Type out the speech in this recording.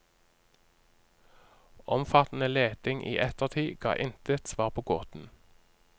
Omfattende leting i ettertid ga intet svar på gåten.